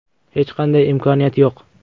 Hech qanday imkoniyat yo‘q.